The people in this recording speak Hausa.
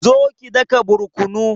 zo ki daka barkonu